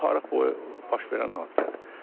Bu tarix boyu baş verən hadisədir.